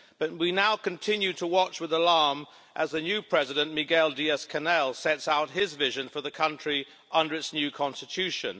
But we now continue to watch with alarm as the new President, Miguel Diaz-Canel, sets out his vision for the country under its new constitution.